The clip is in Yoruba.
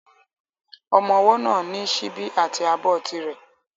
Ọmọ ọwọ́ náà ní síbi àti abọ́ ti rẹ̀